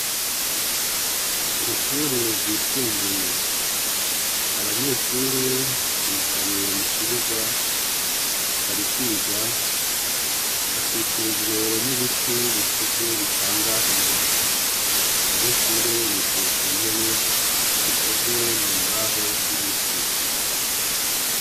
kwishure ryisumbuye abanyeshure bicaye mu kibuga barikwiga hakikujwe n'ibiti bikuze bitanga umuyaga abanyeshure bicaye ku ntebe zikozwe mu mbaho z'ibiti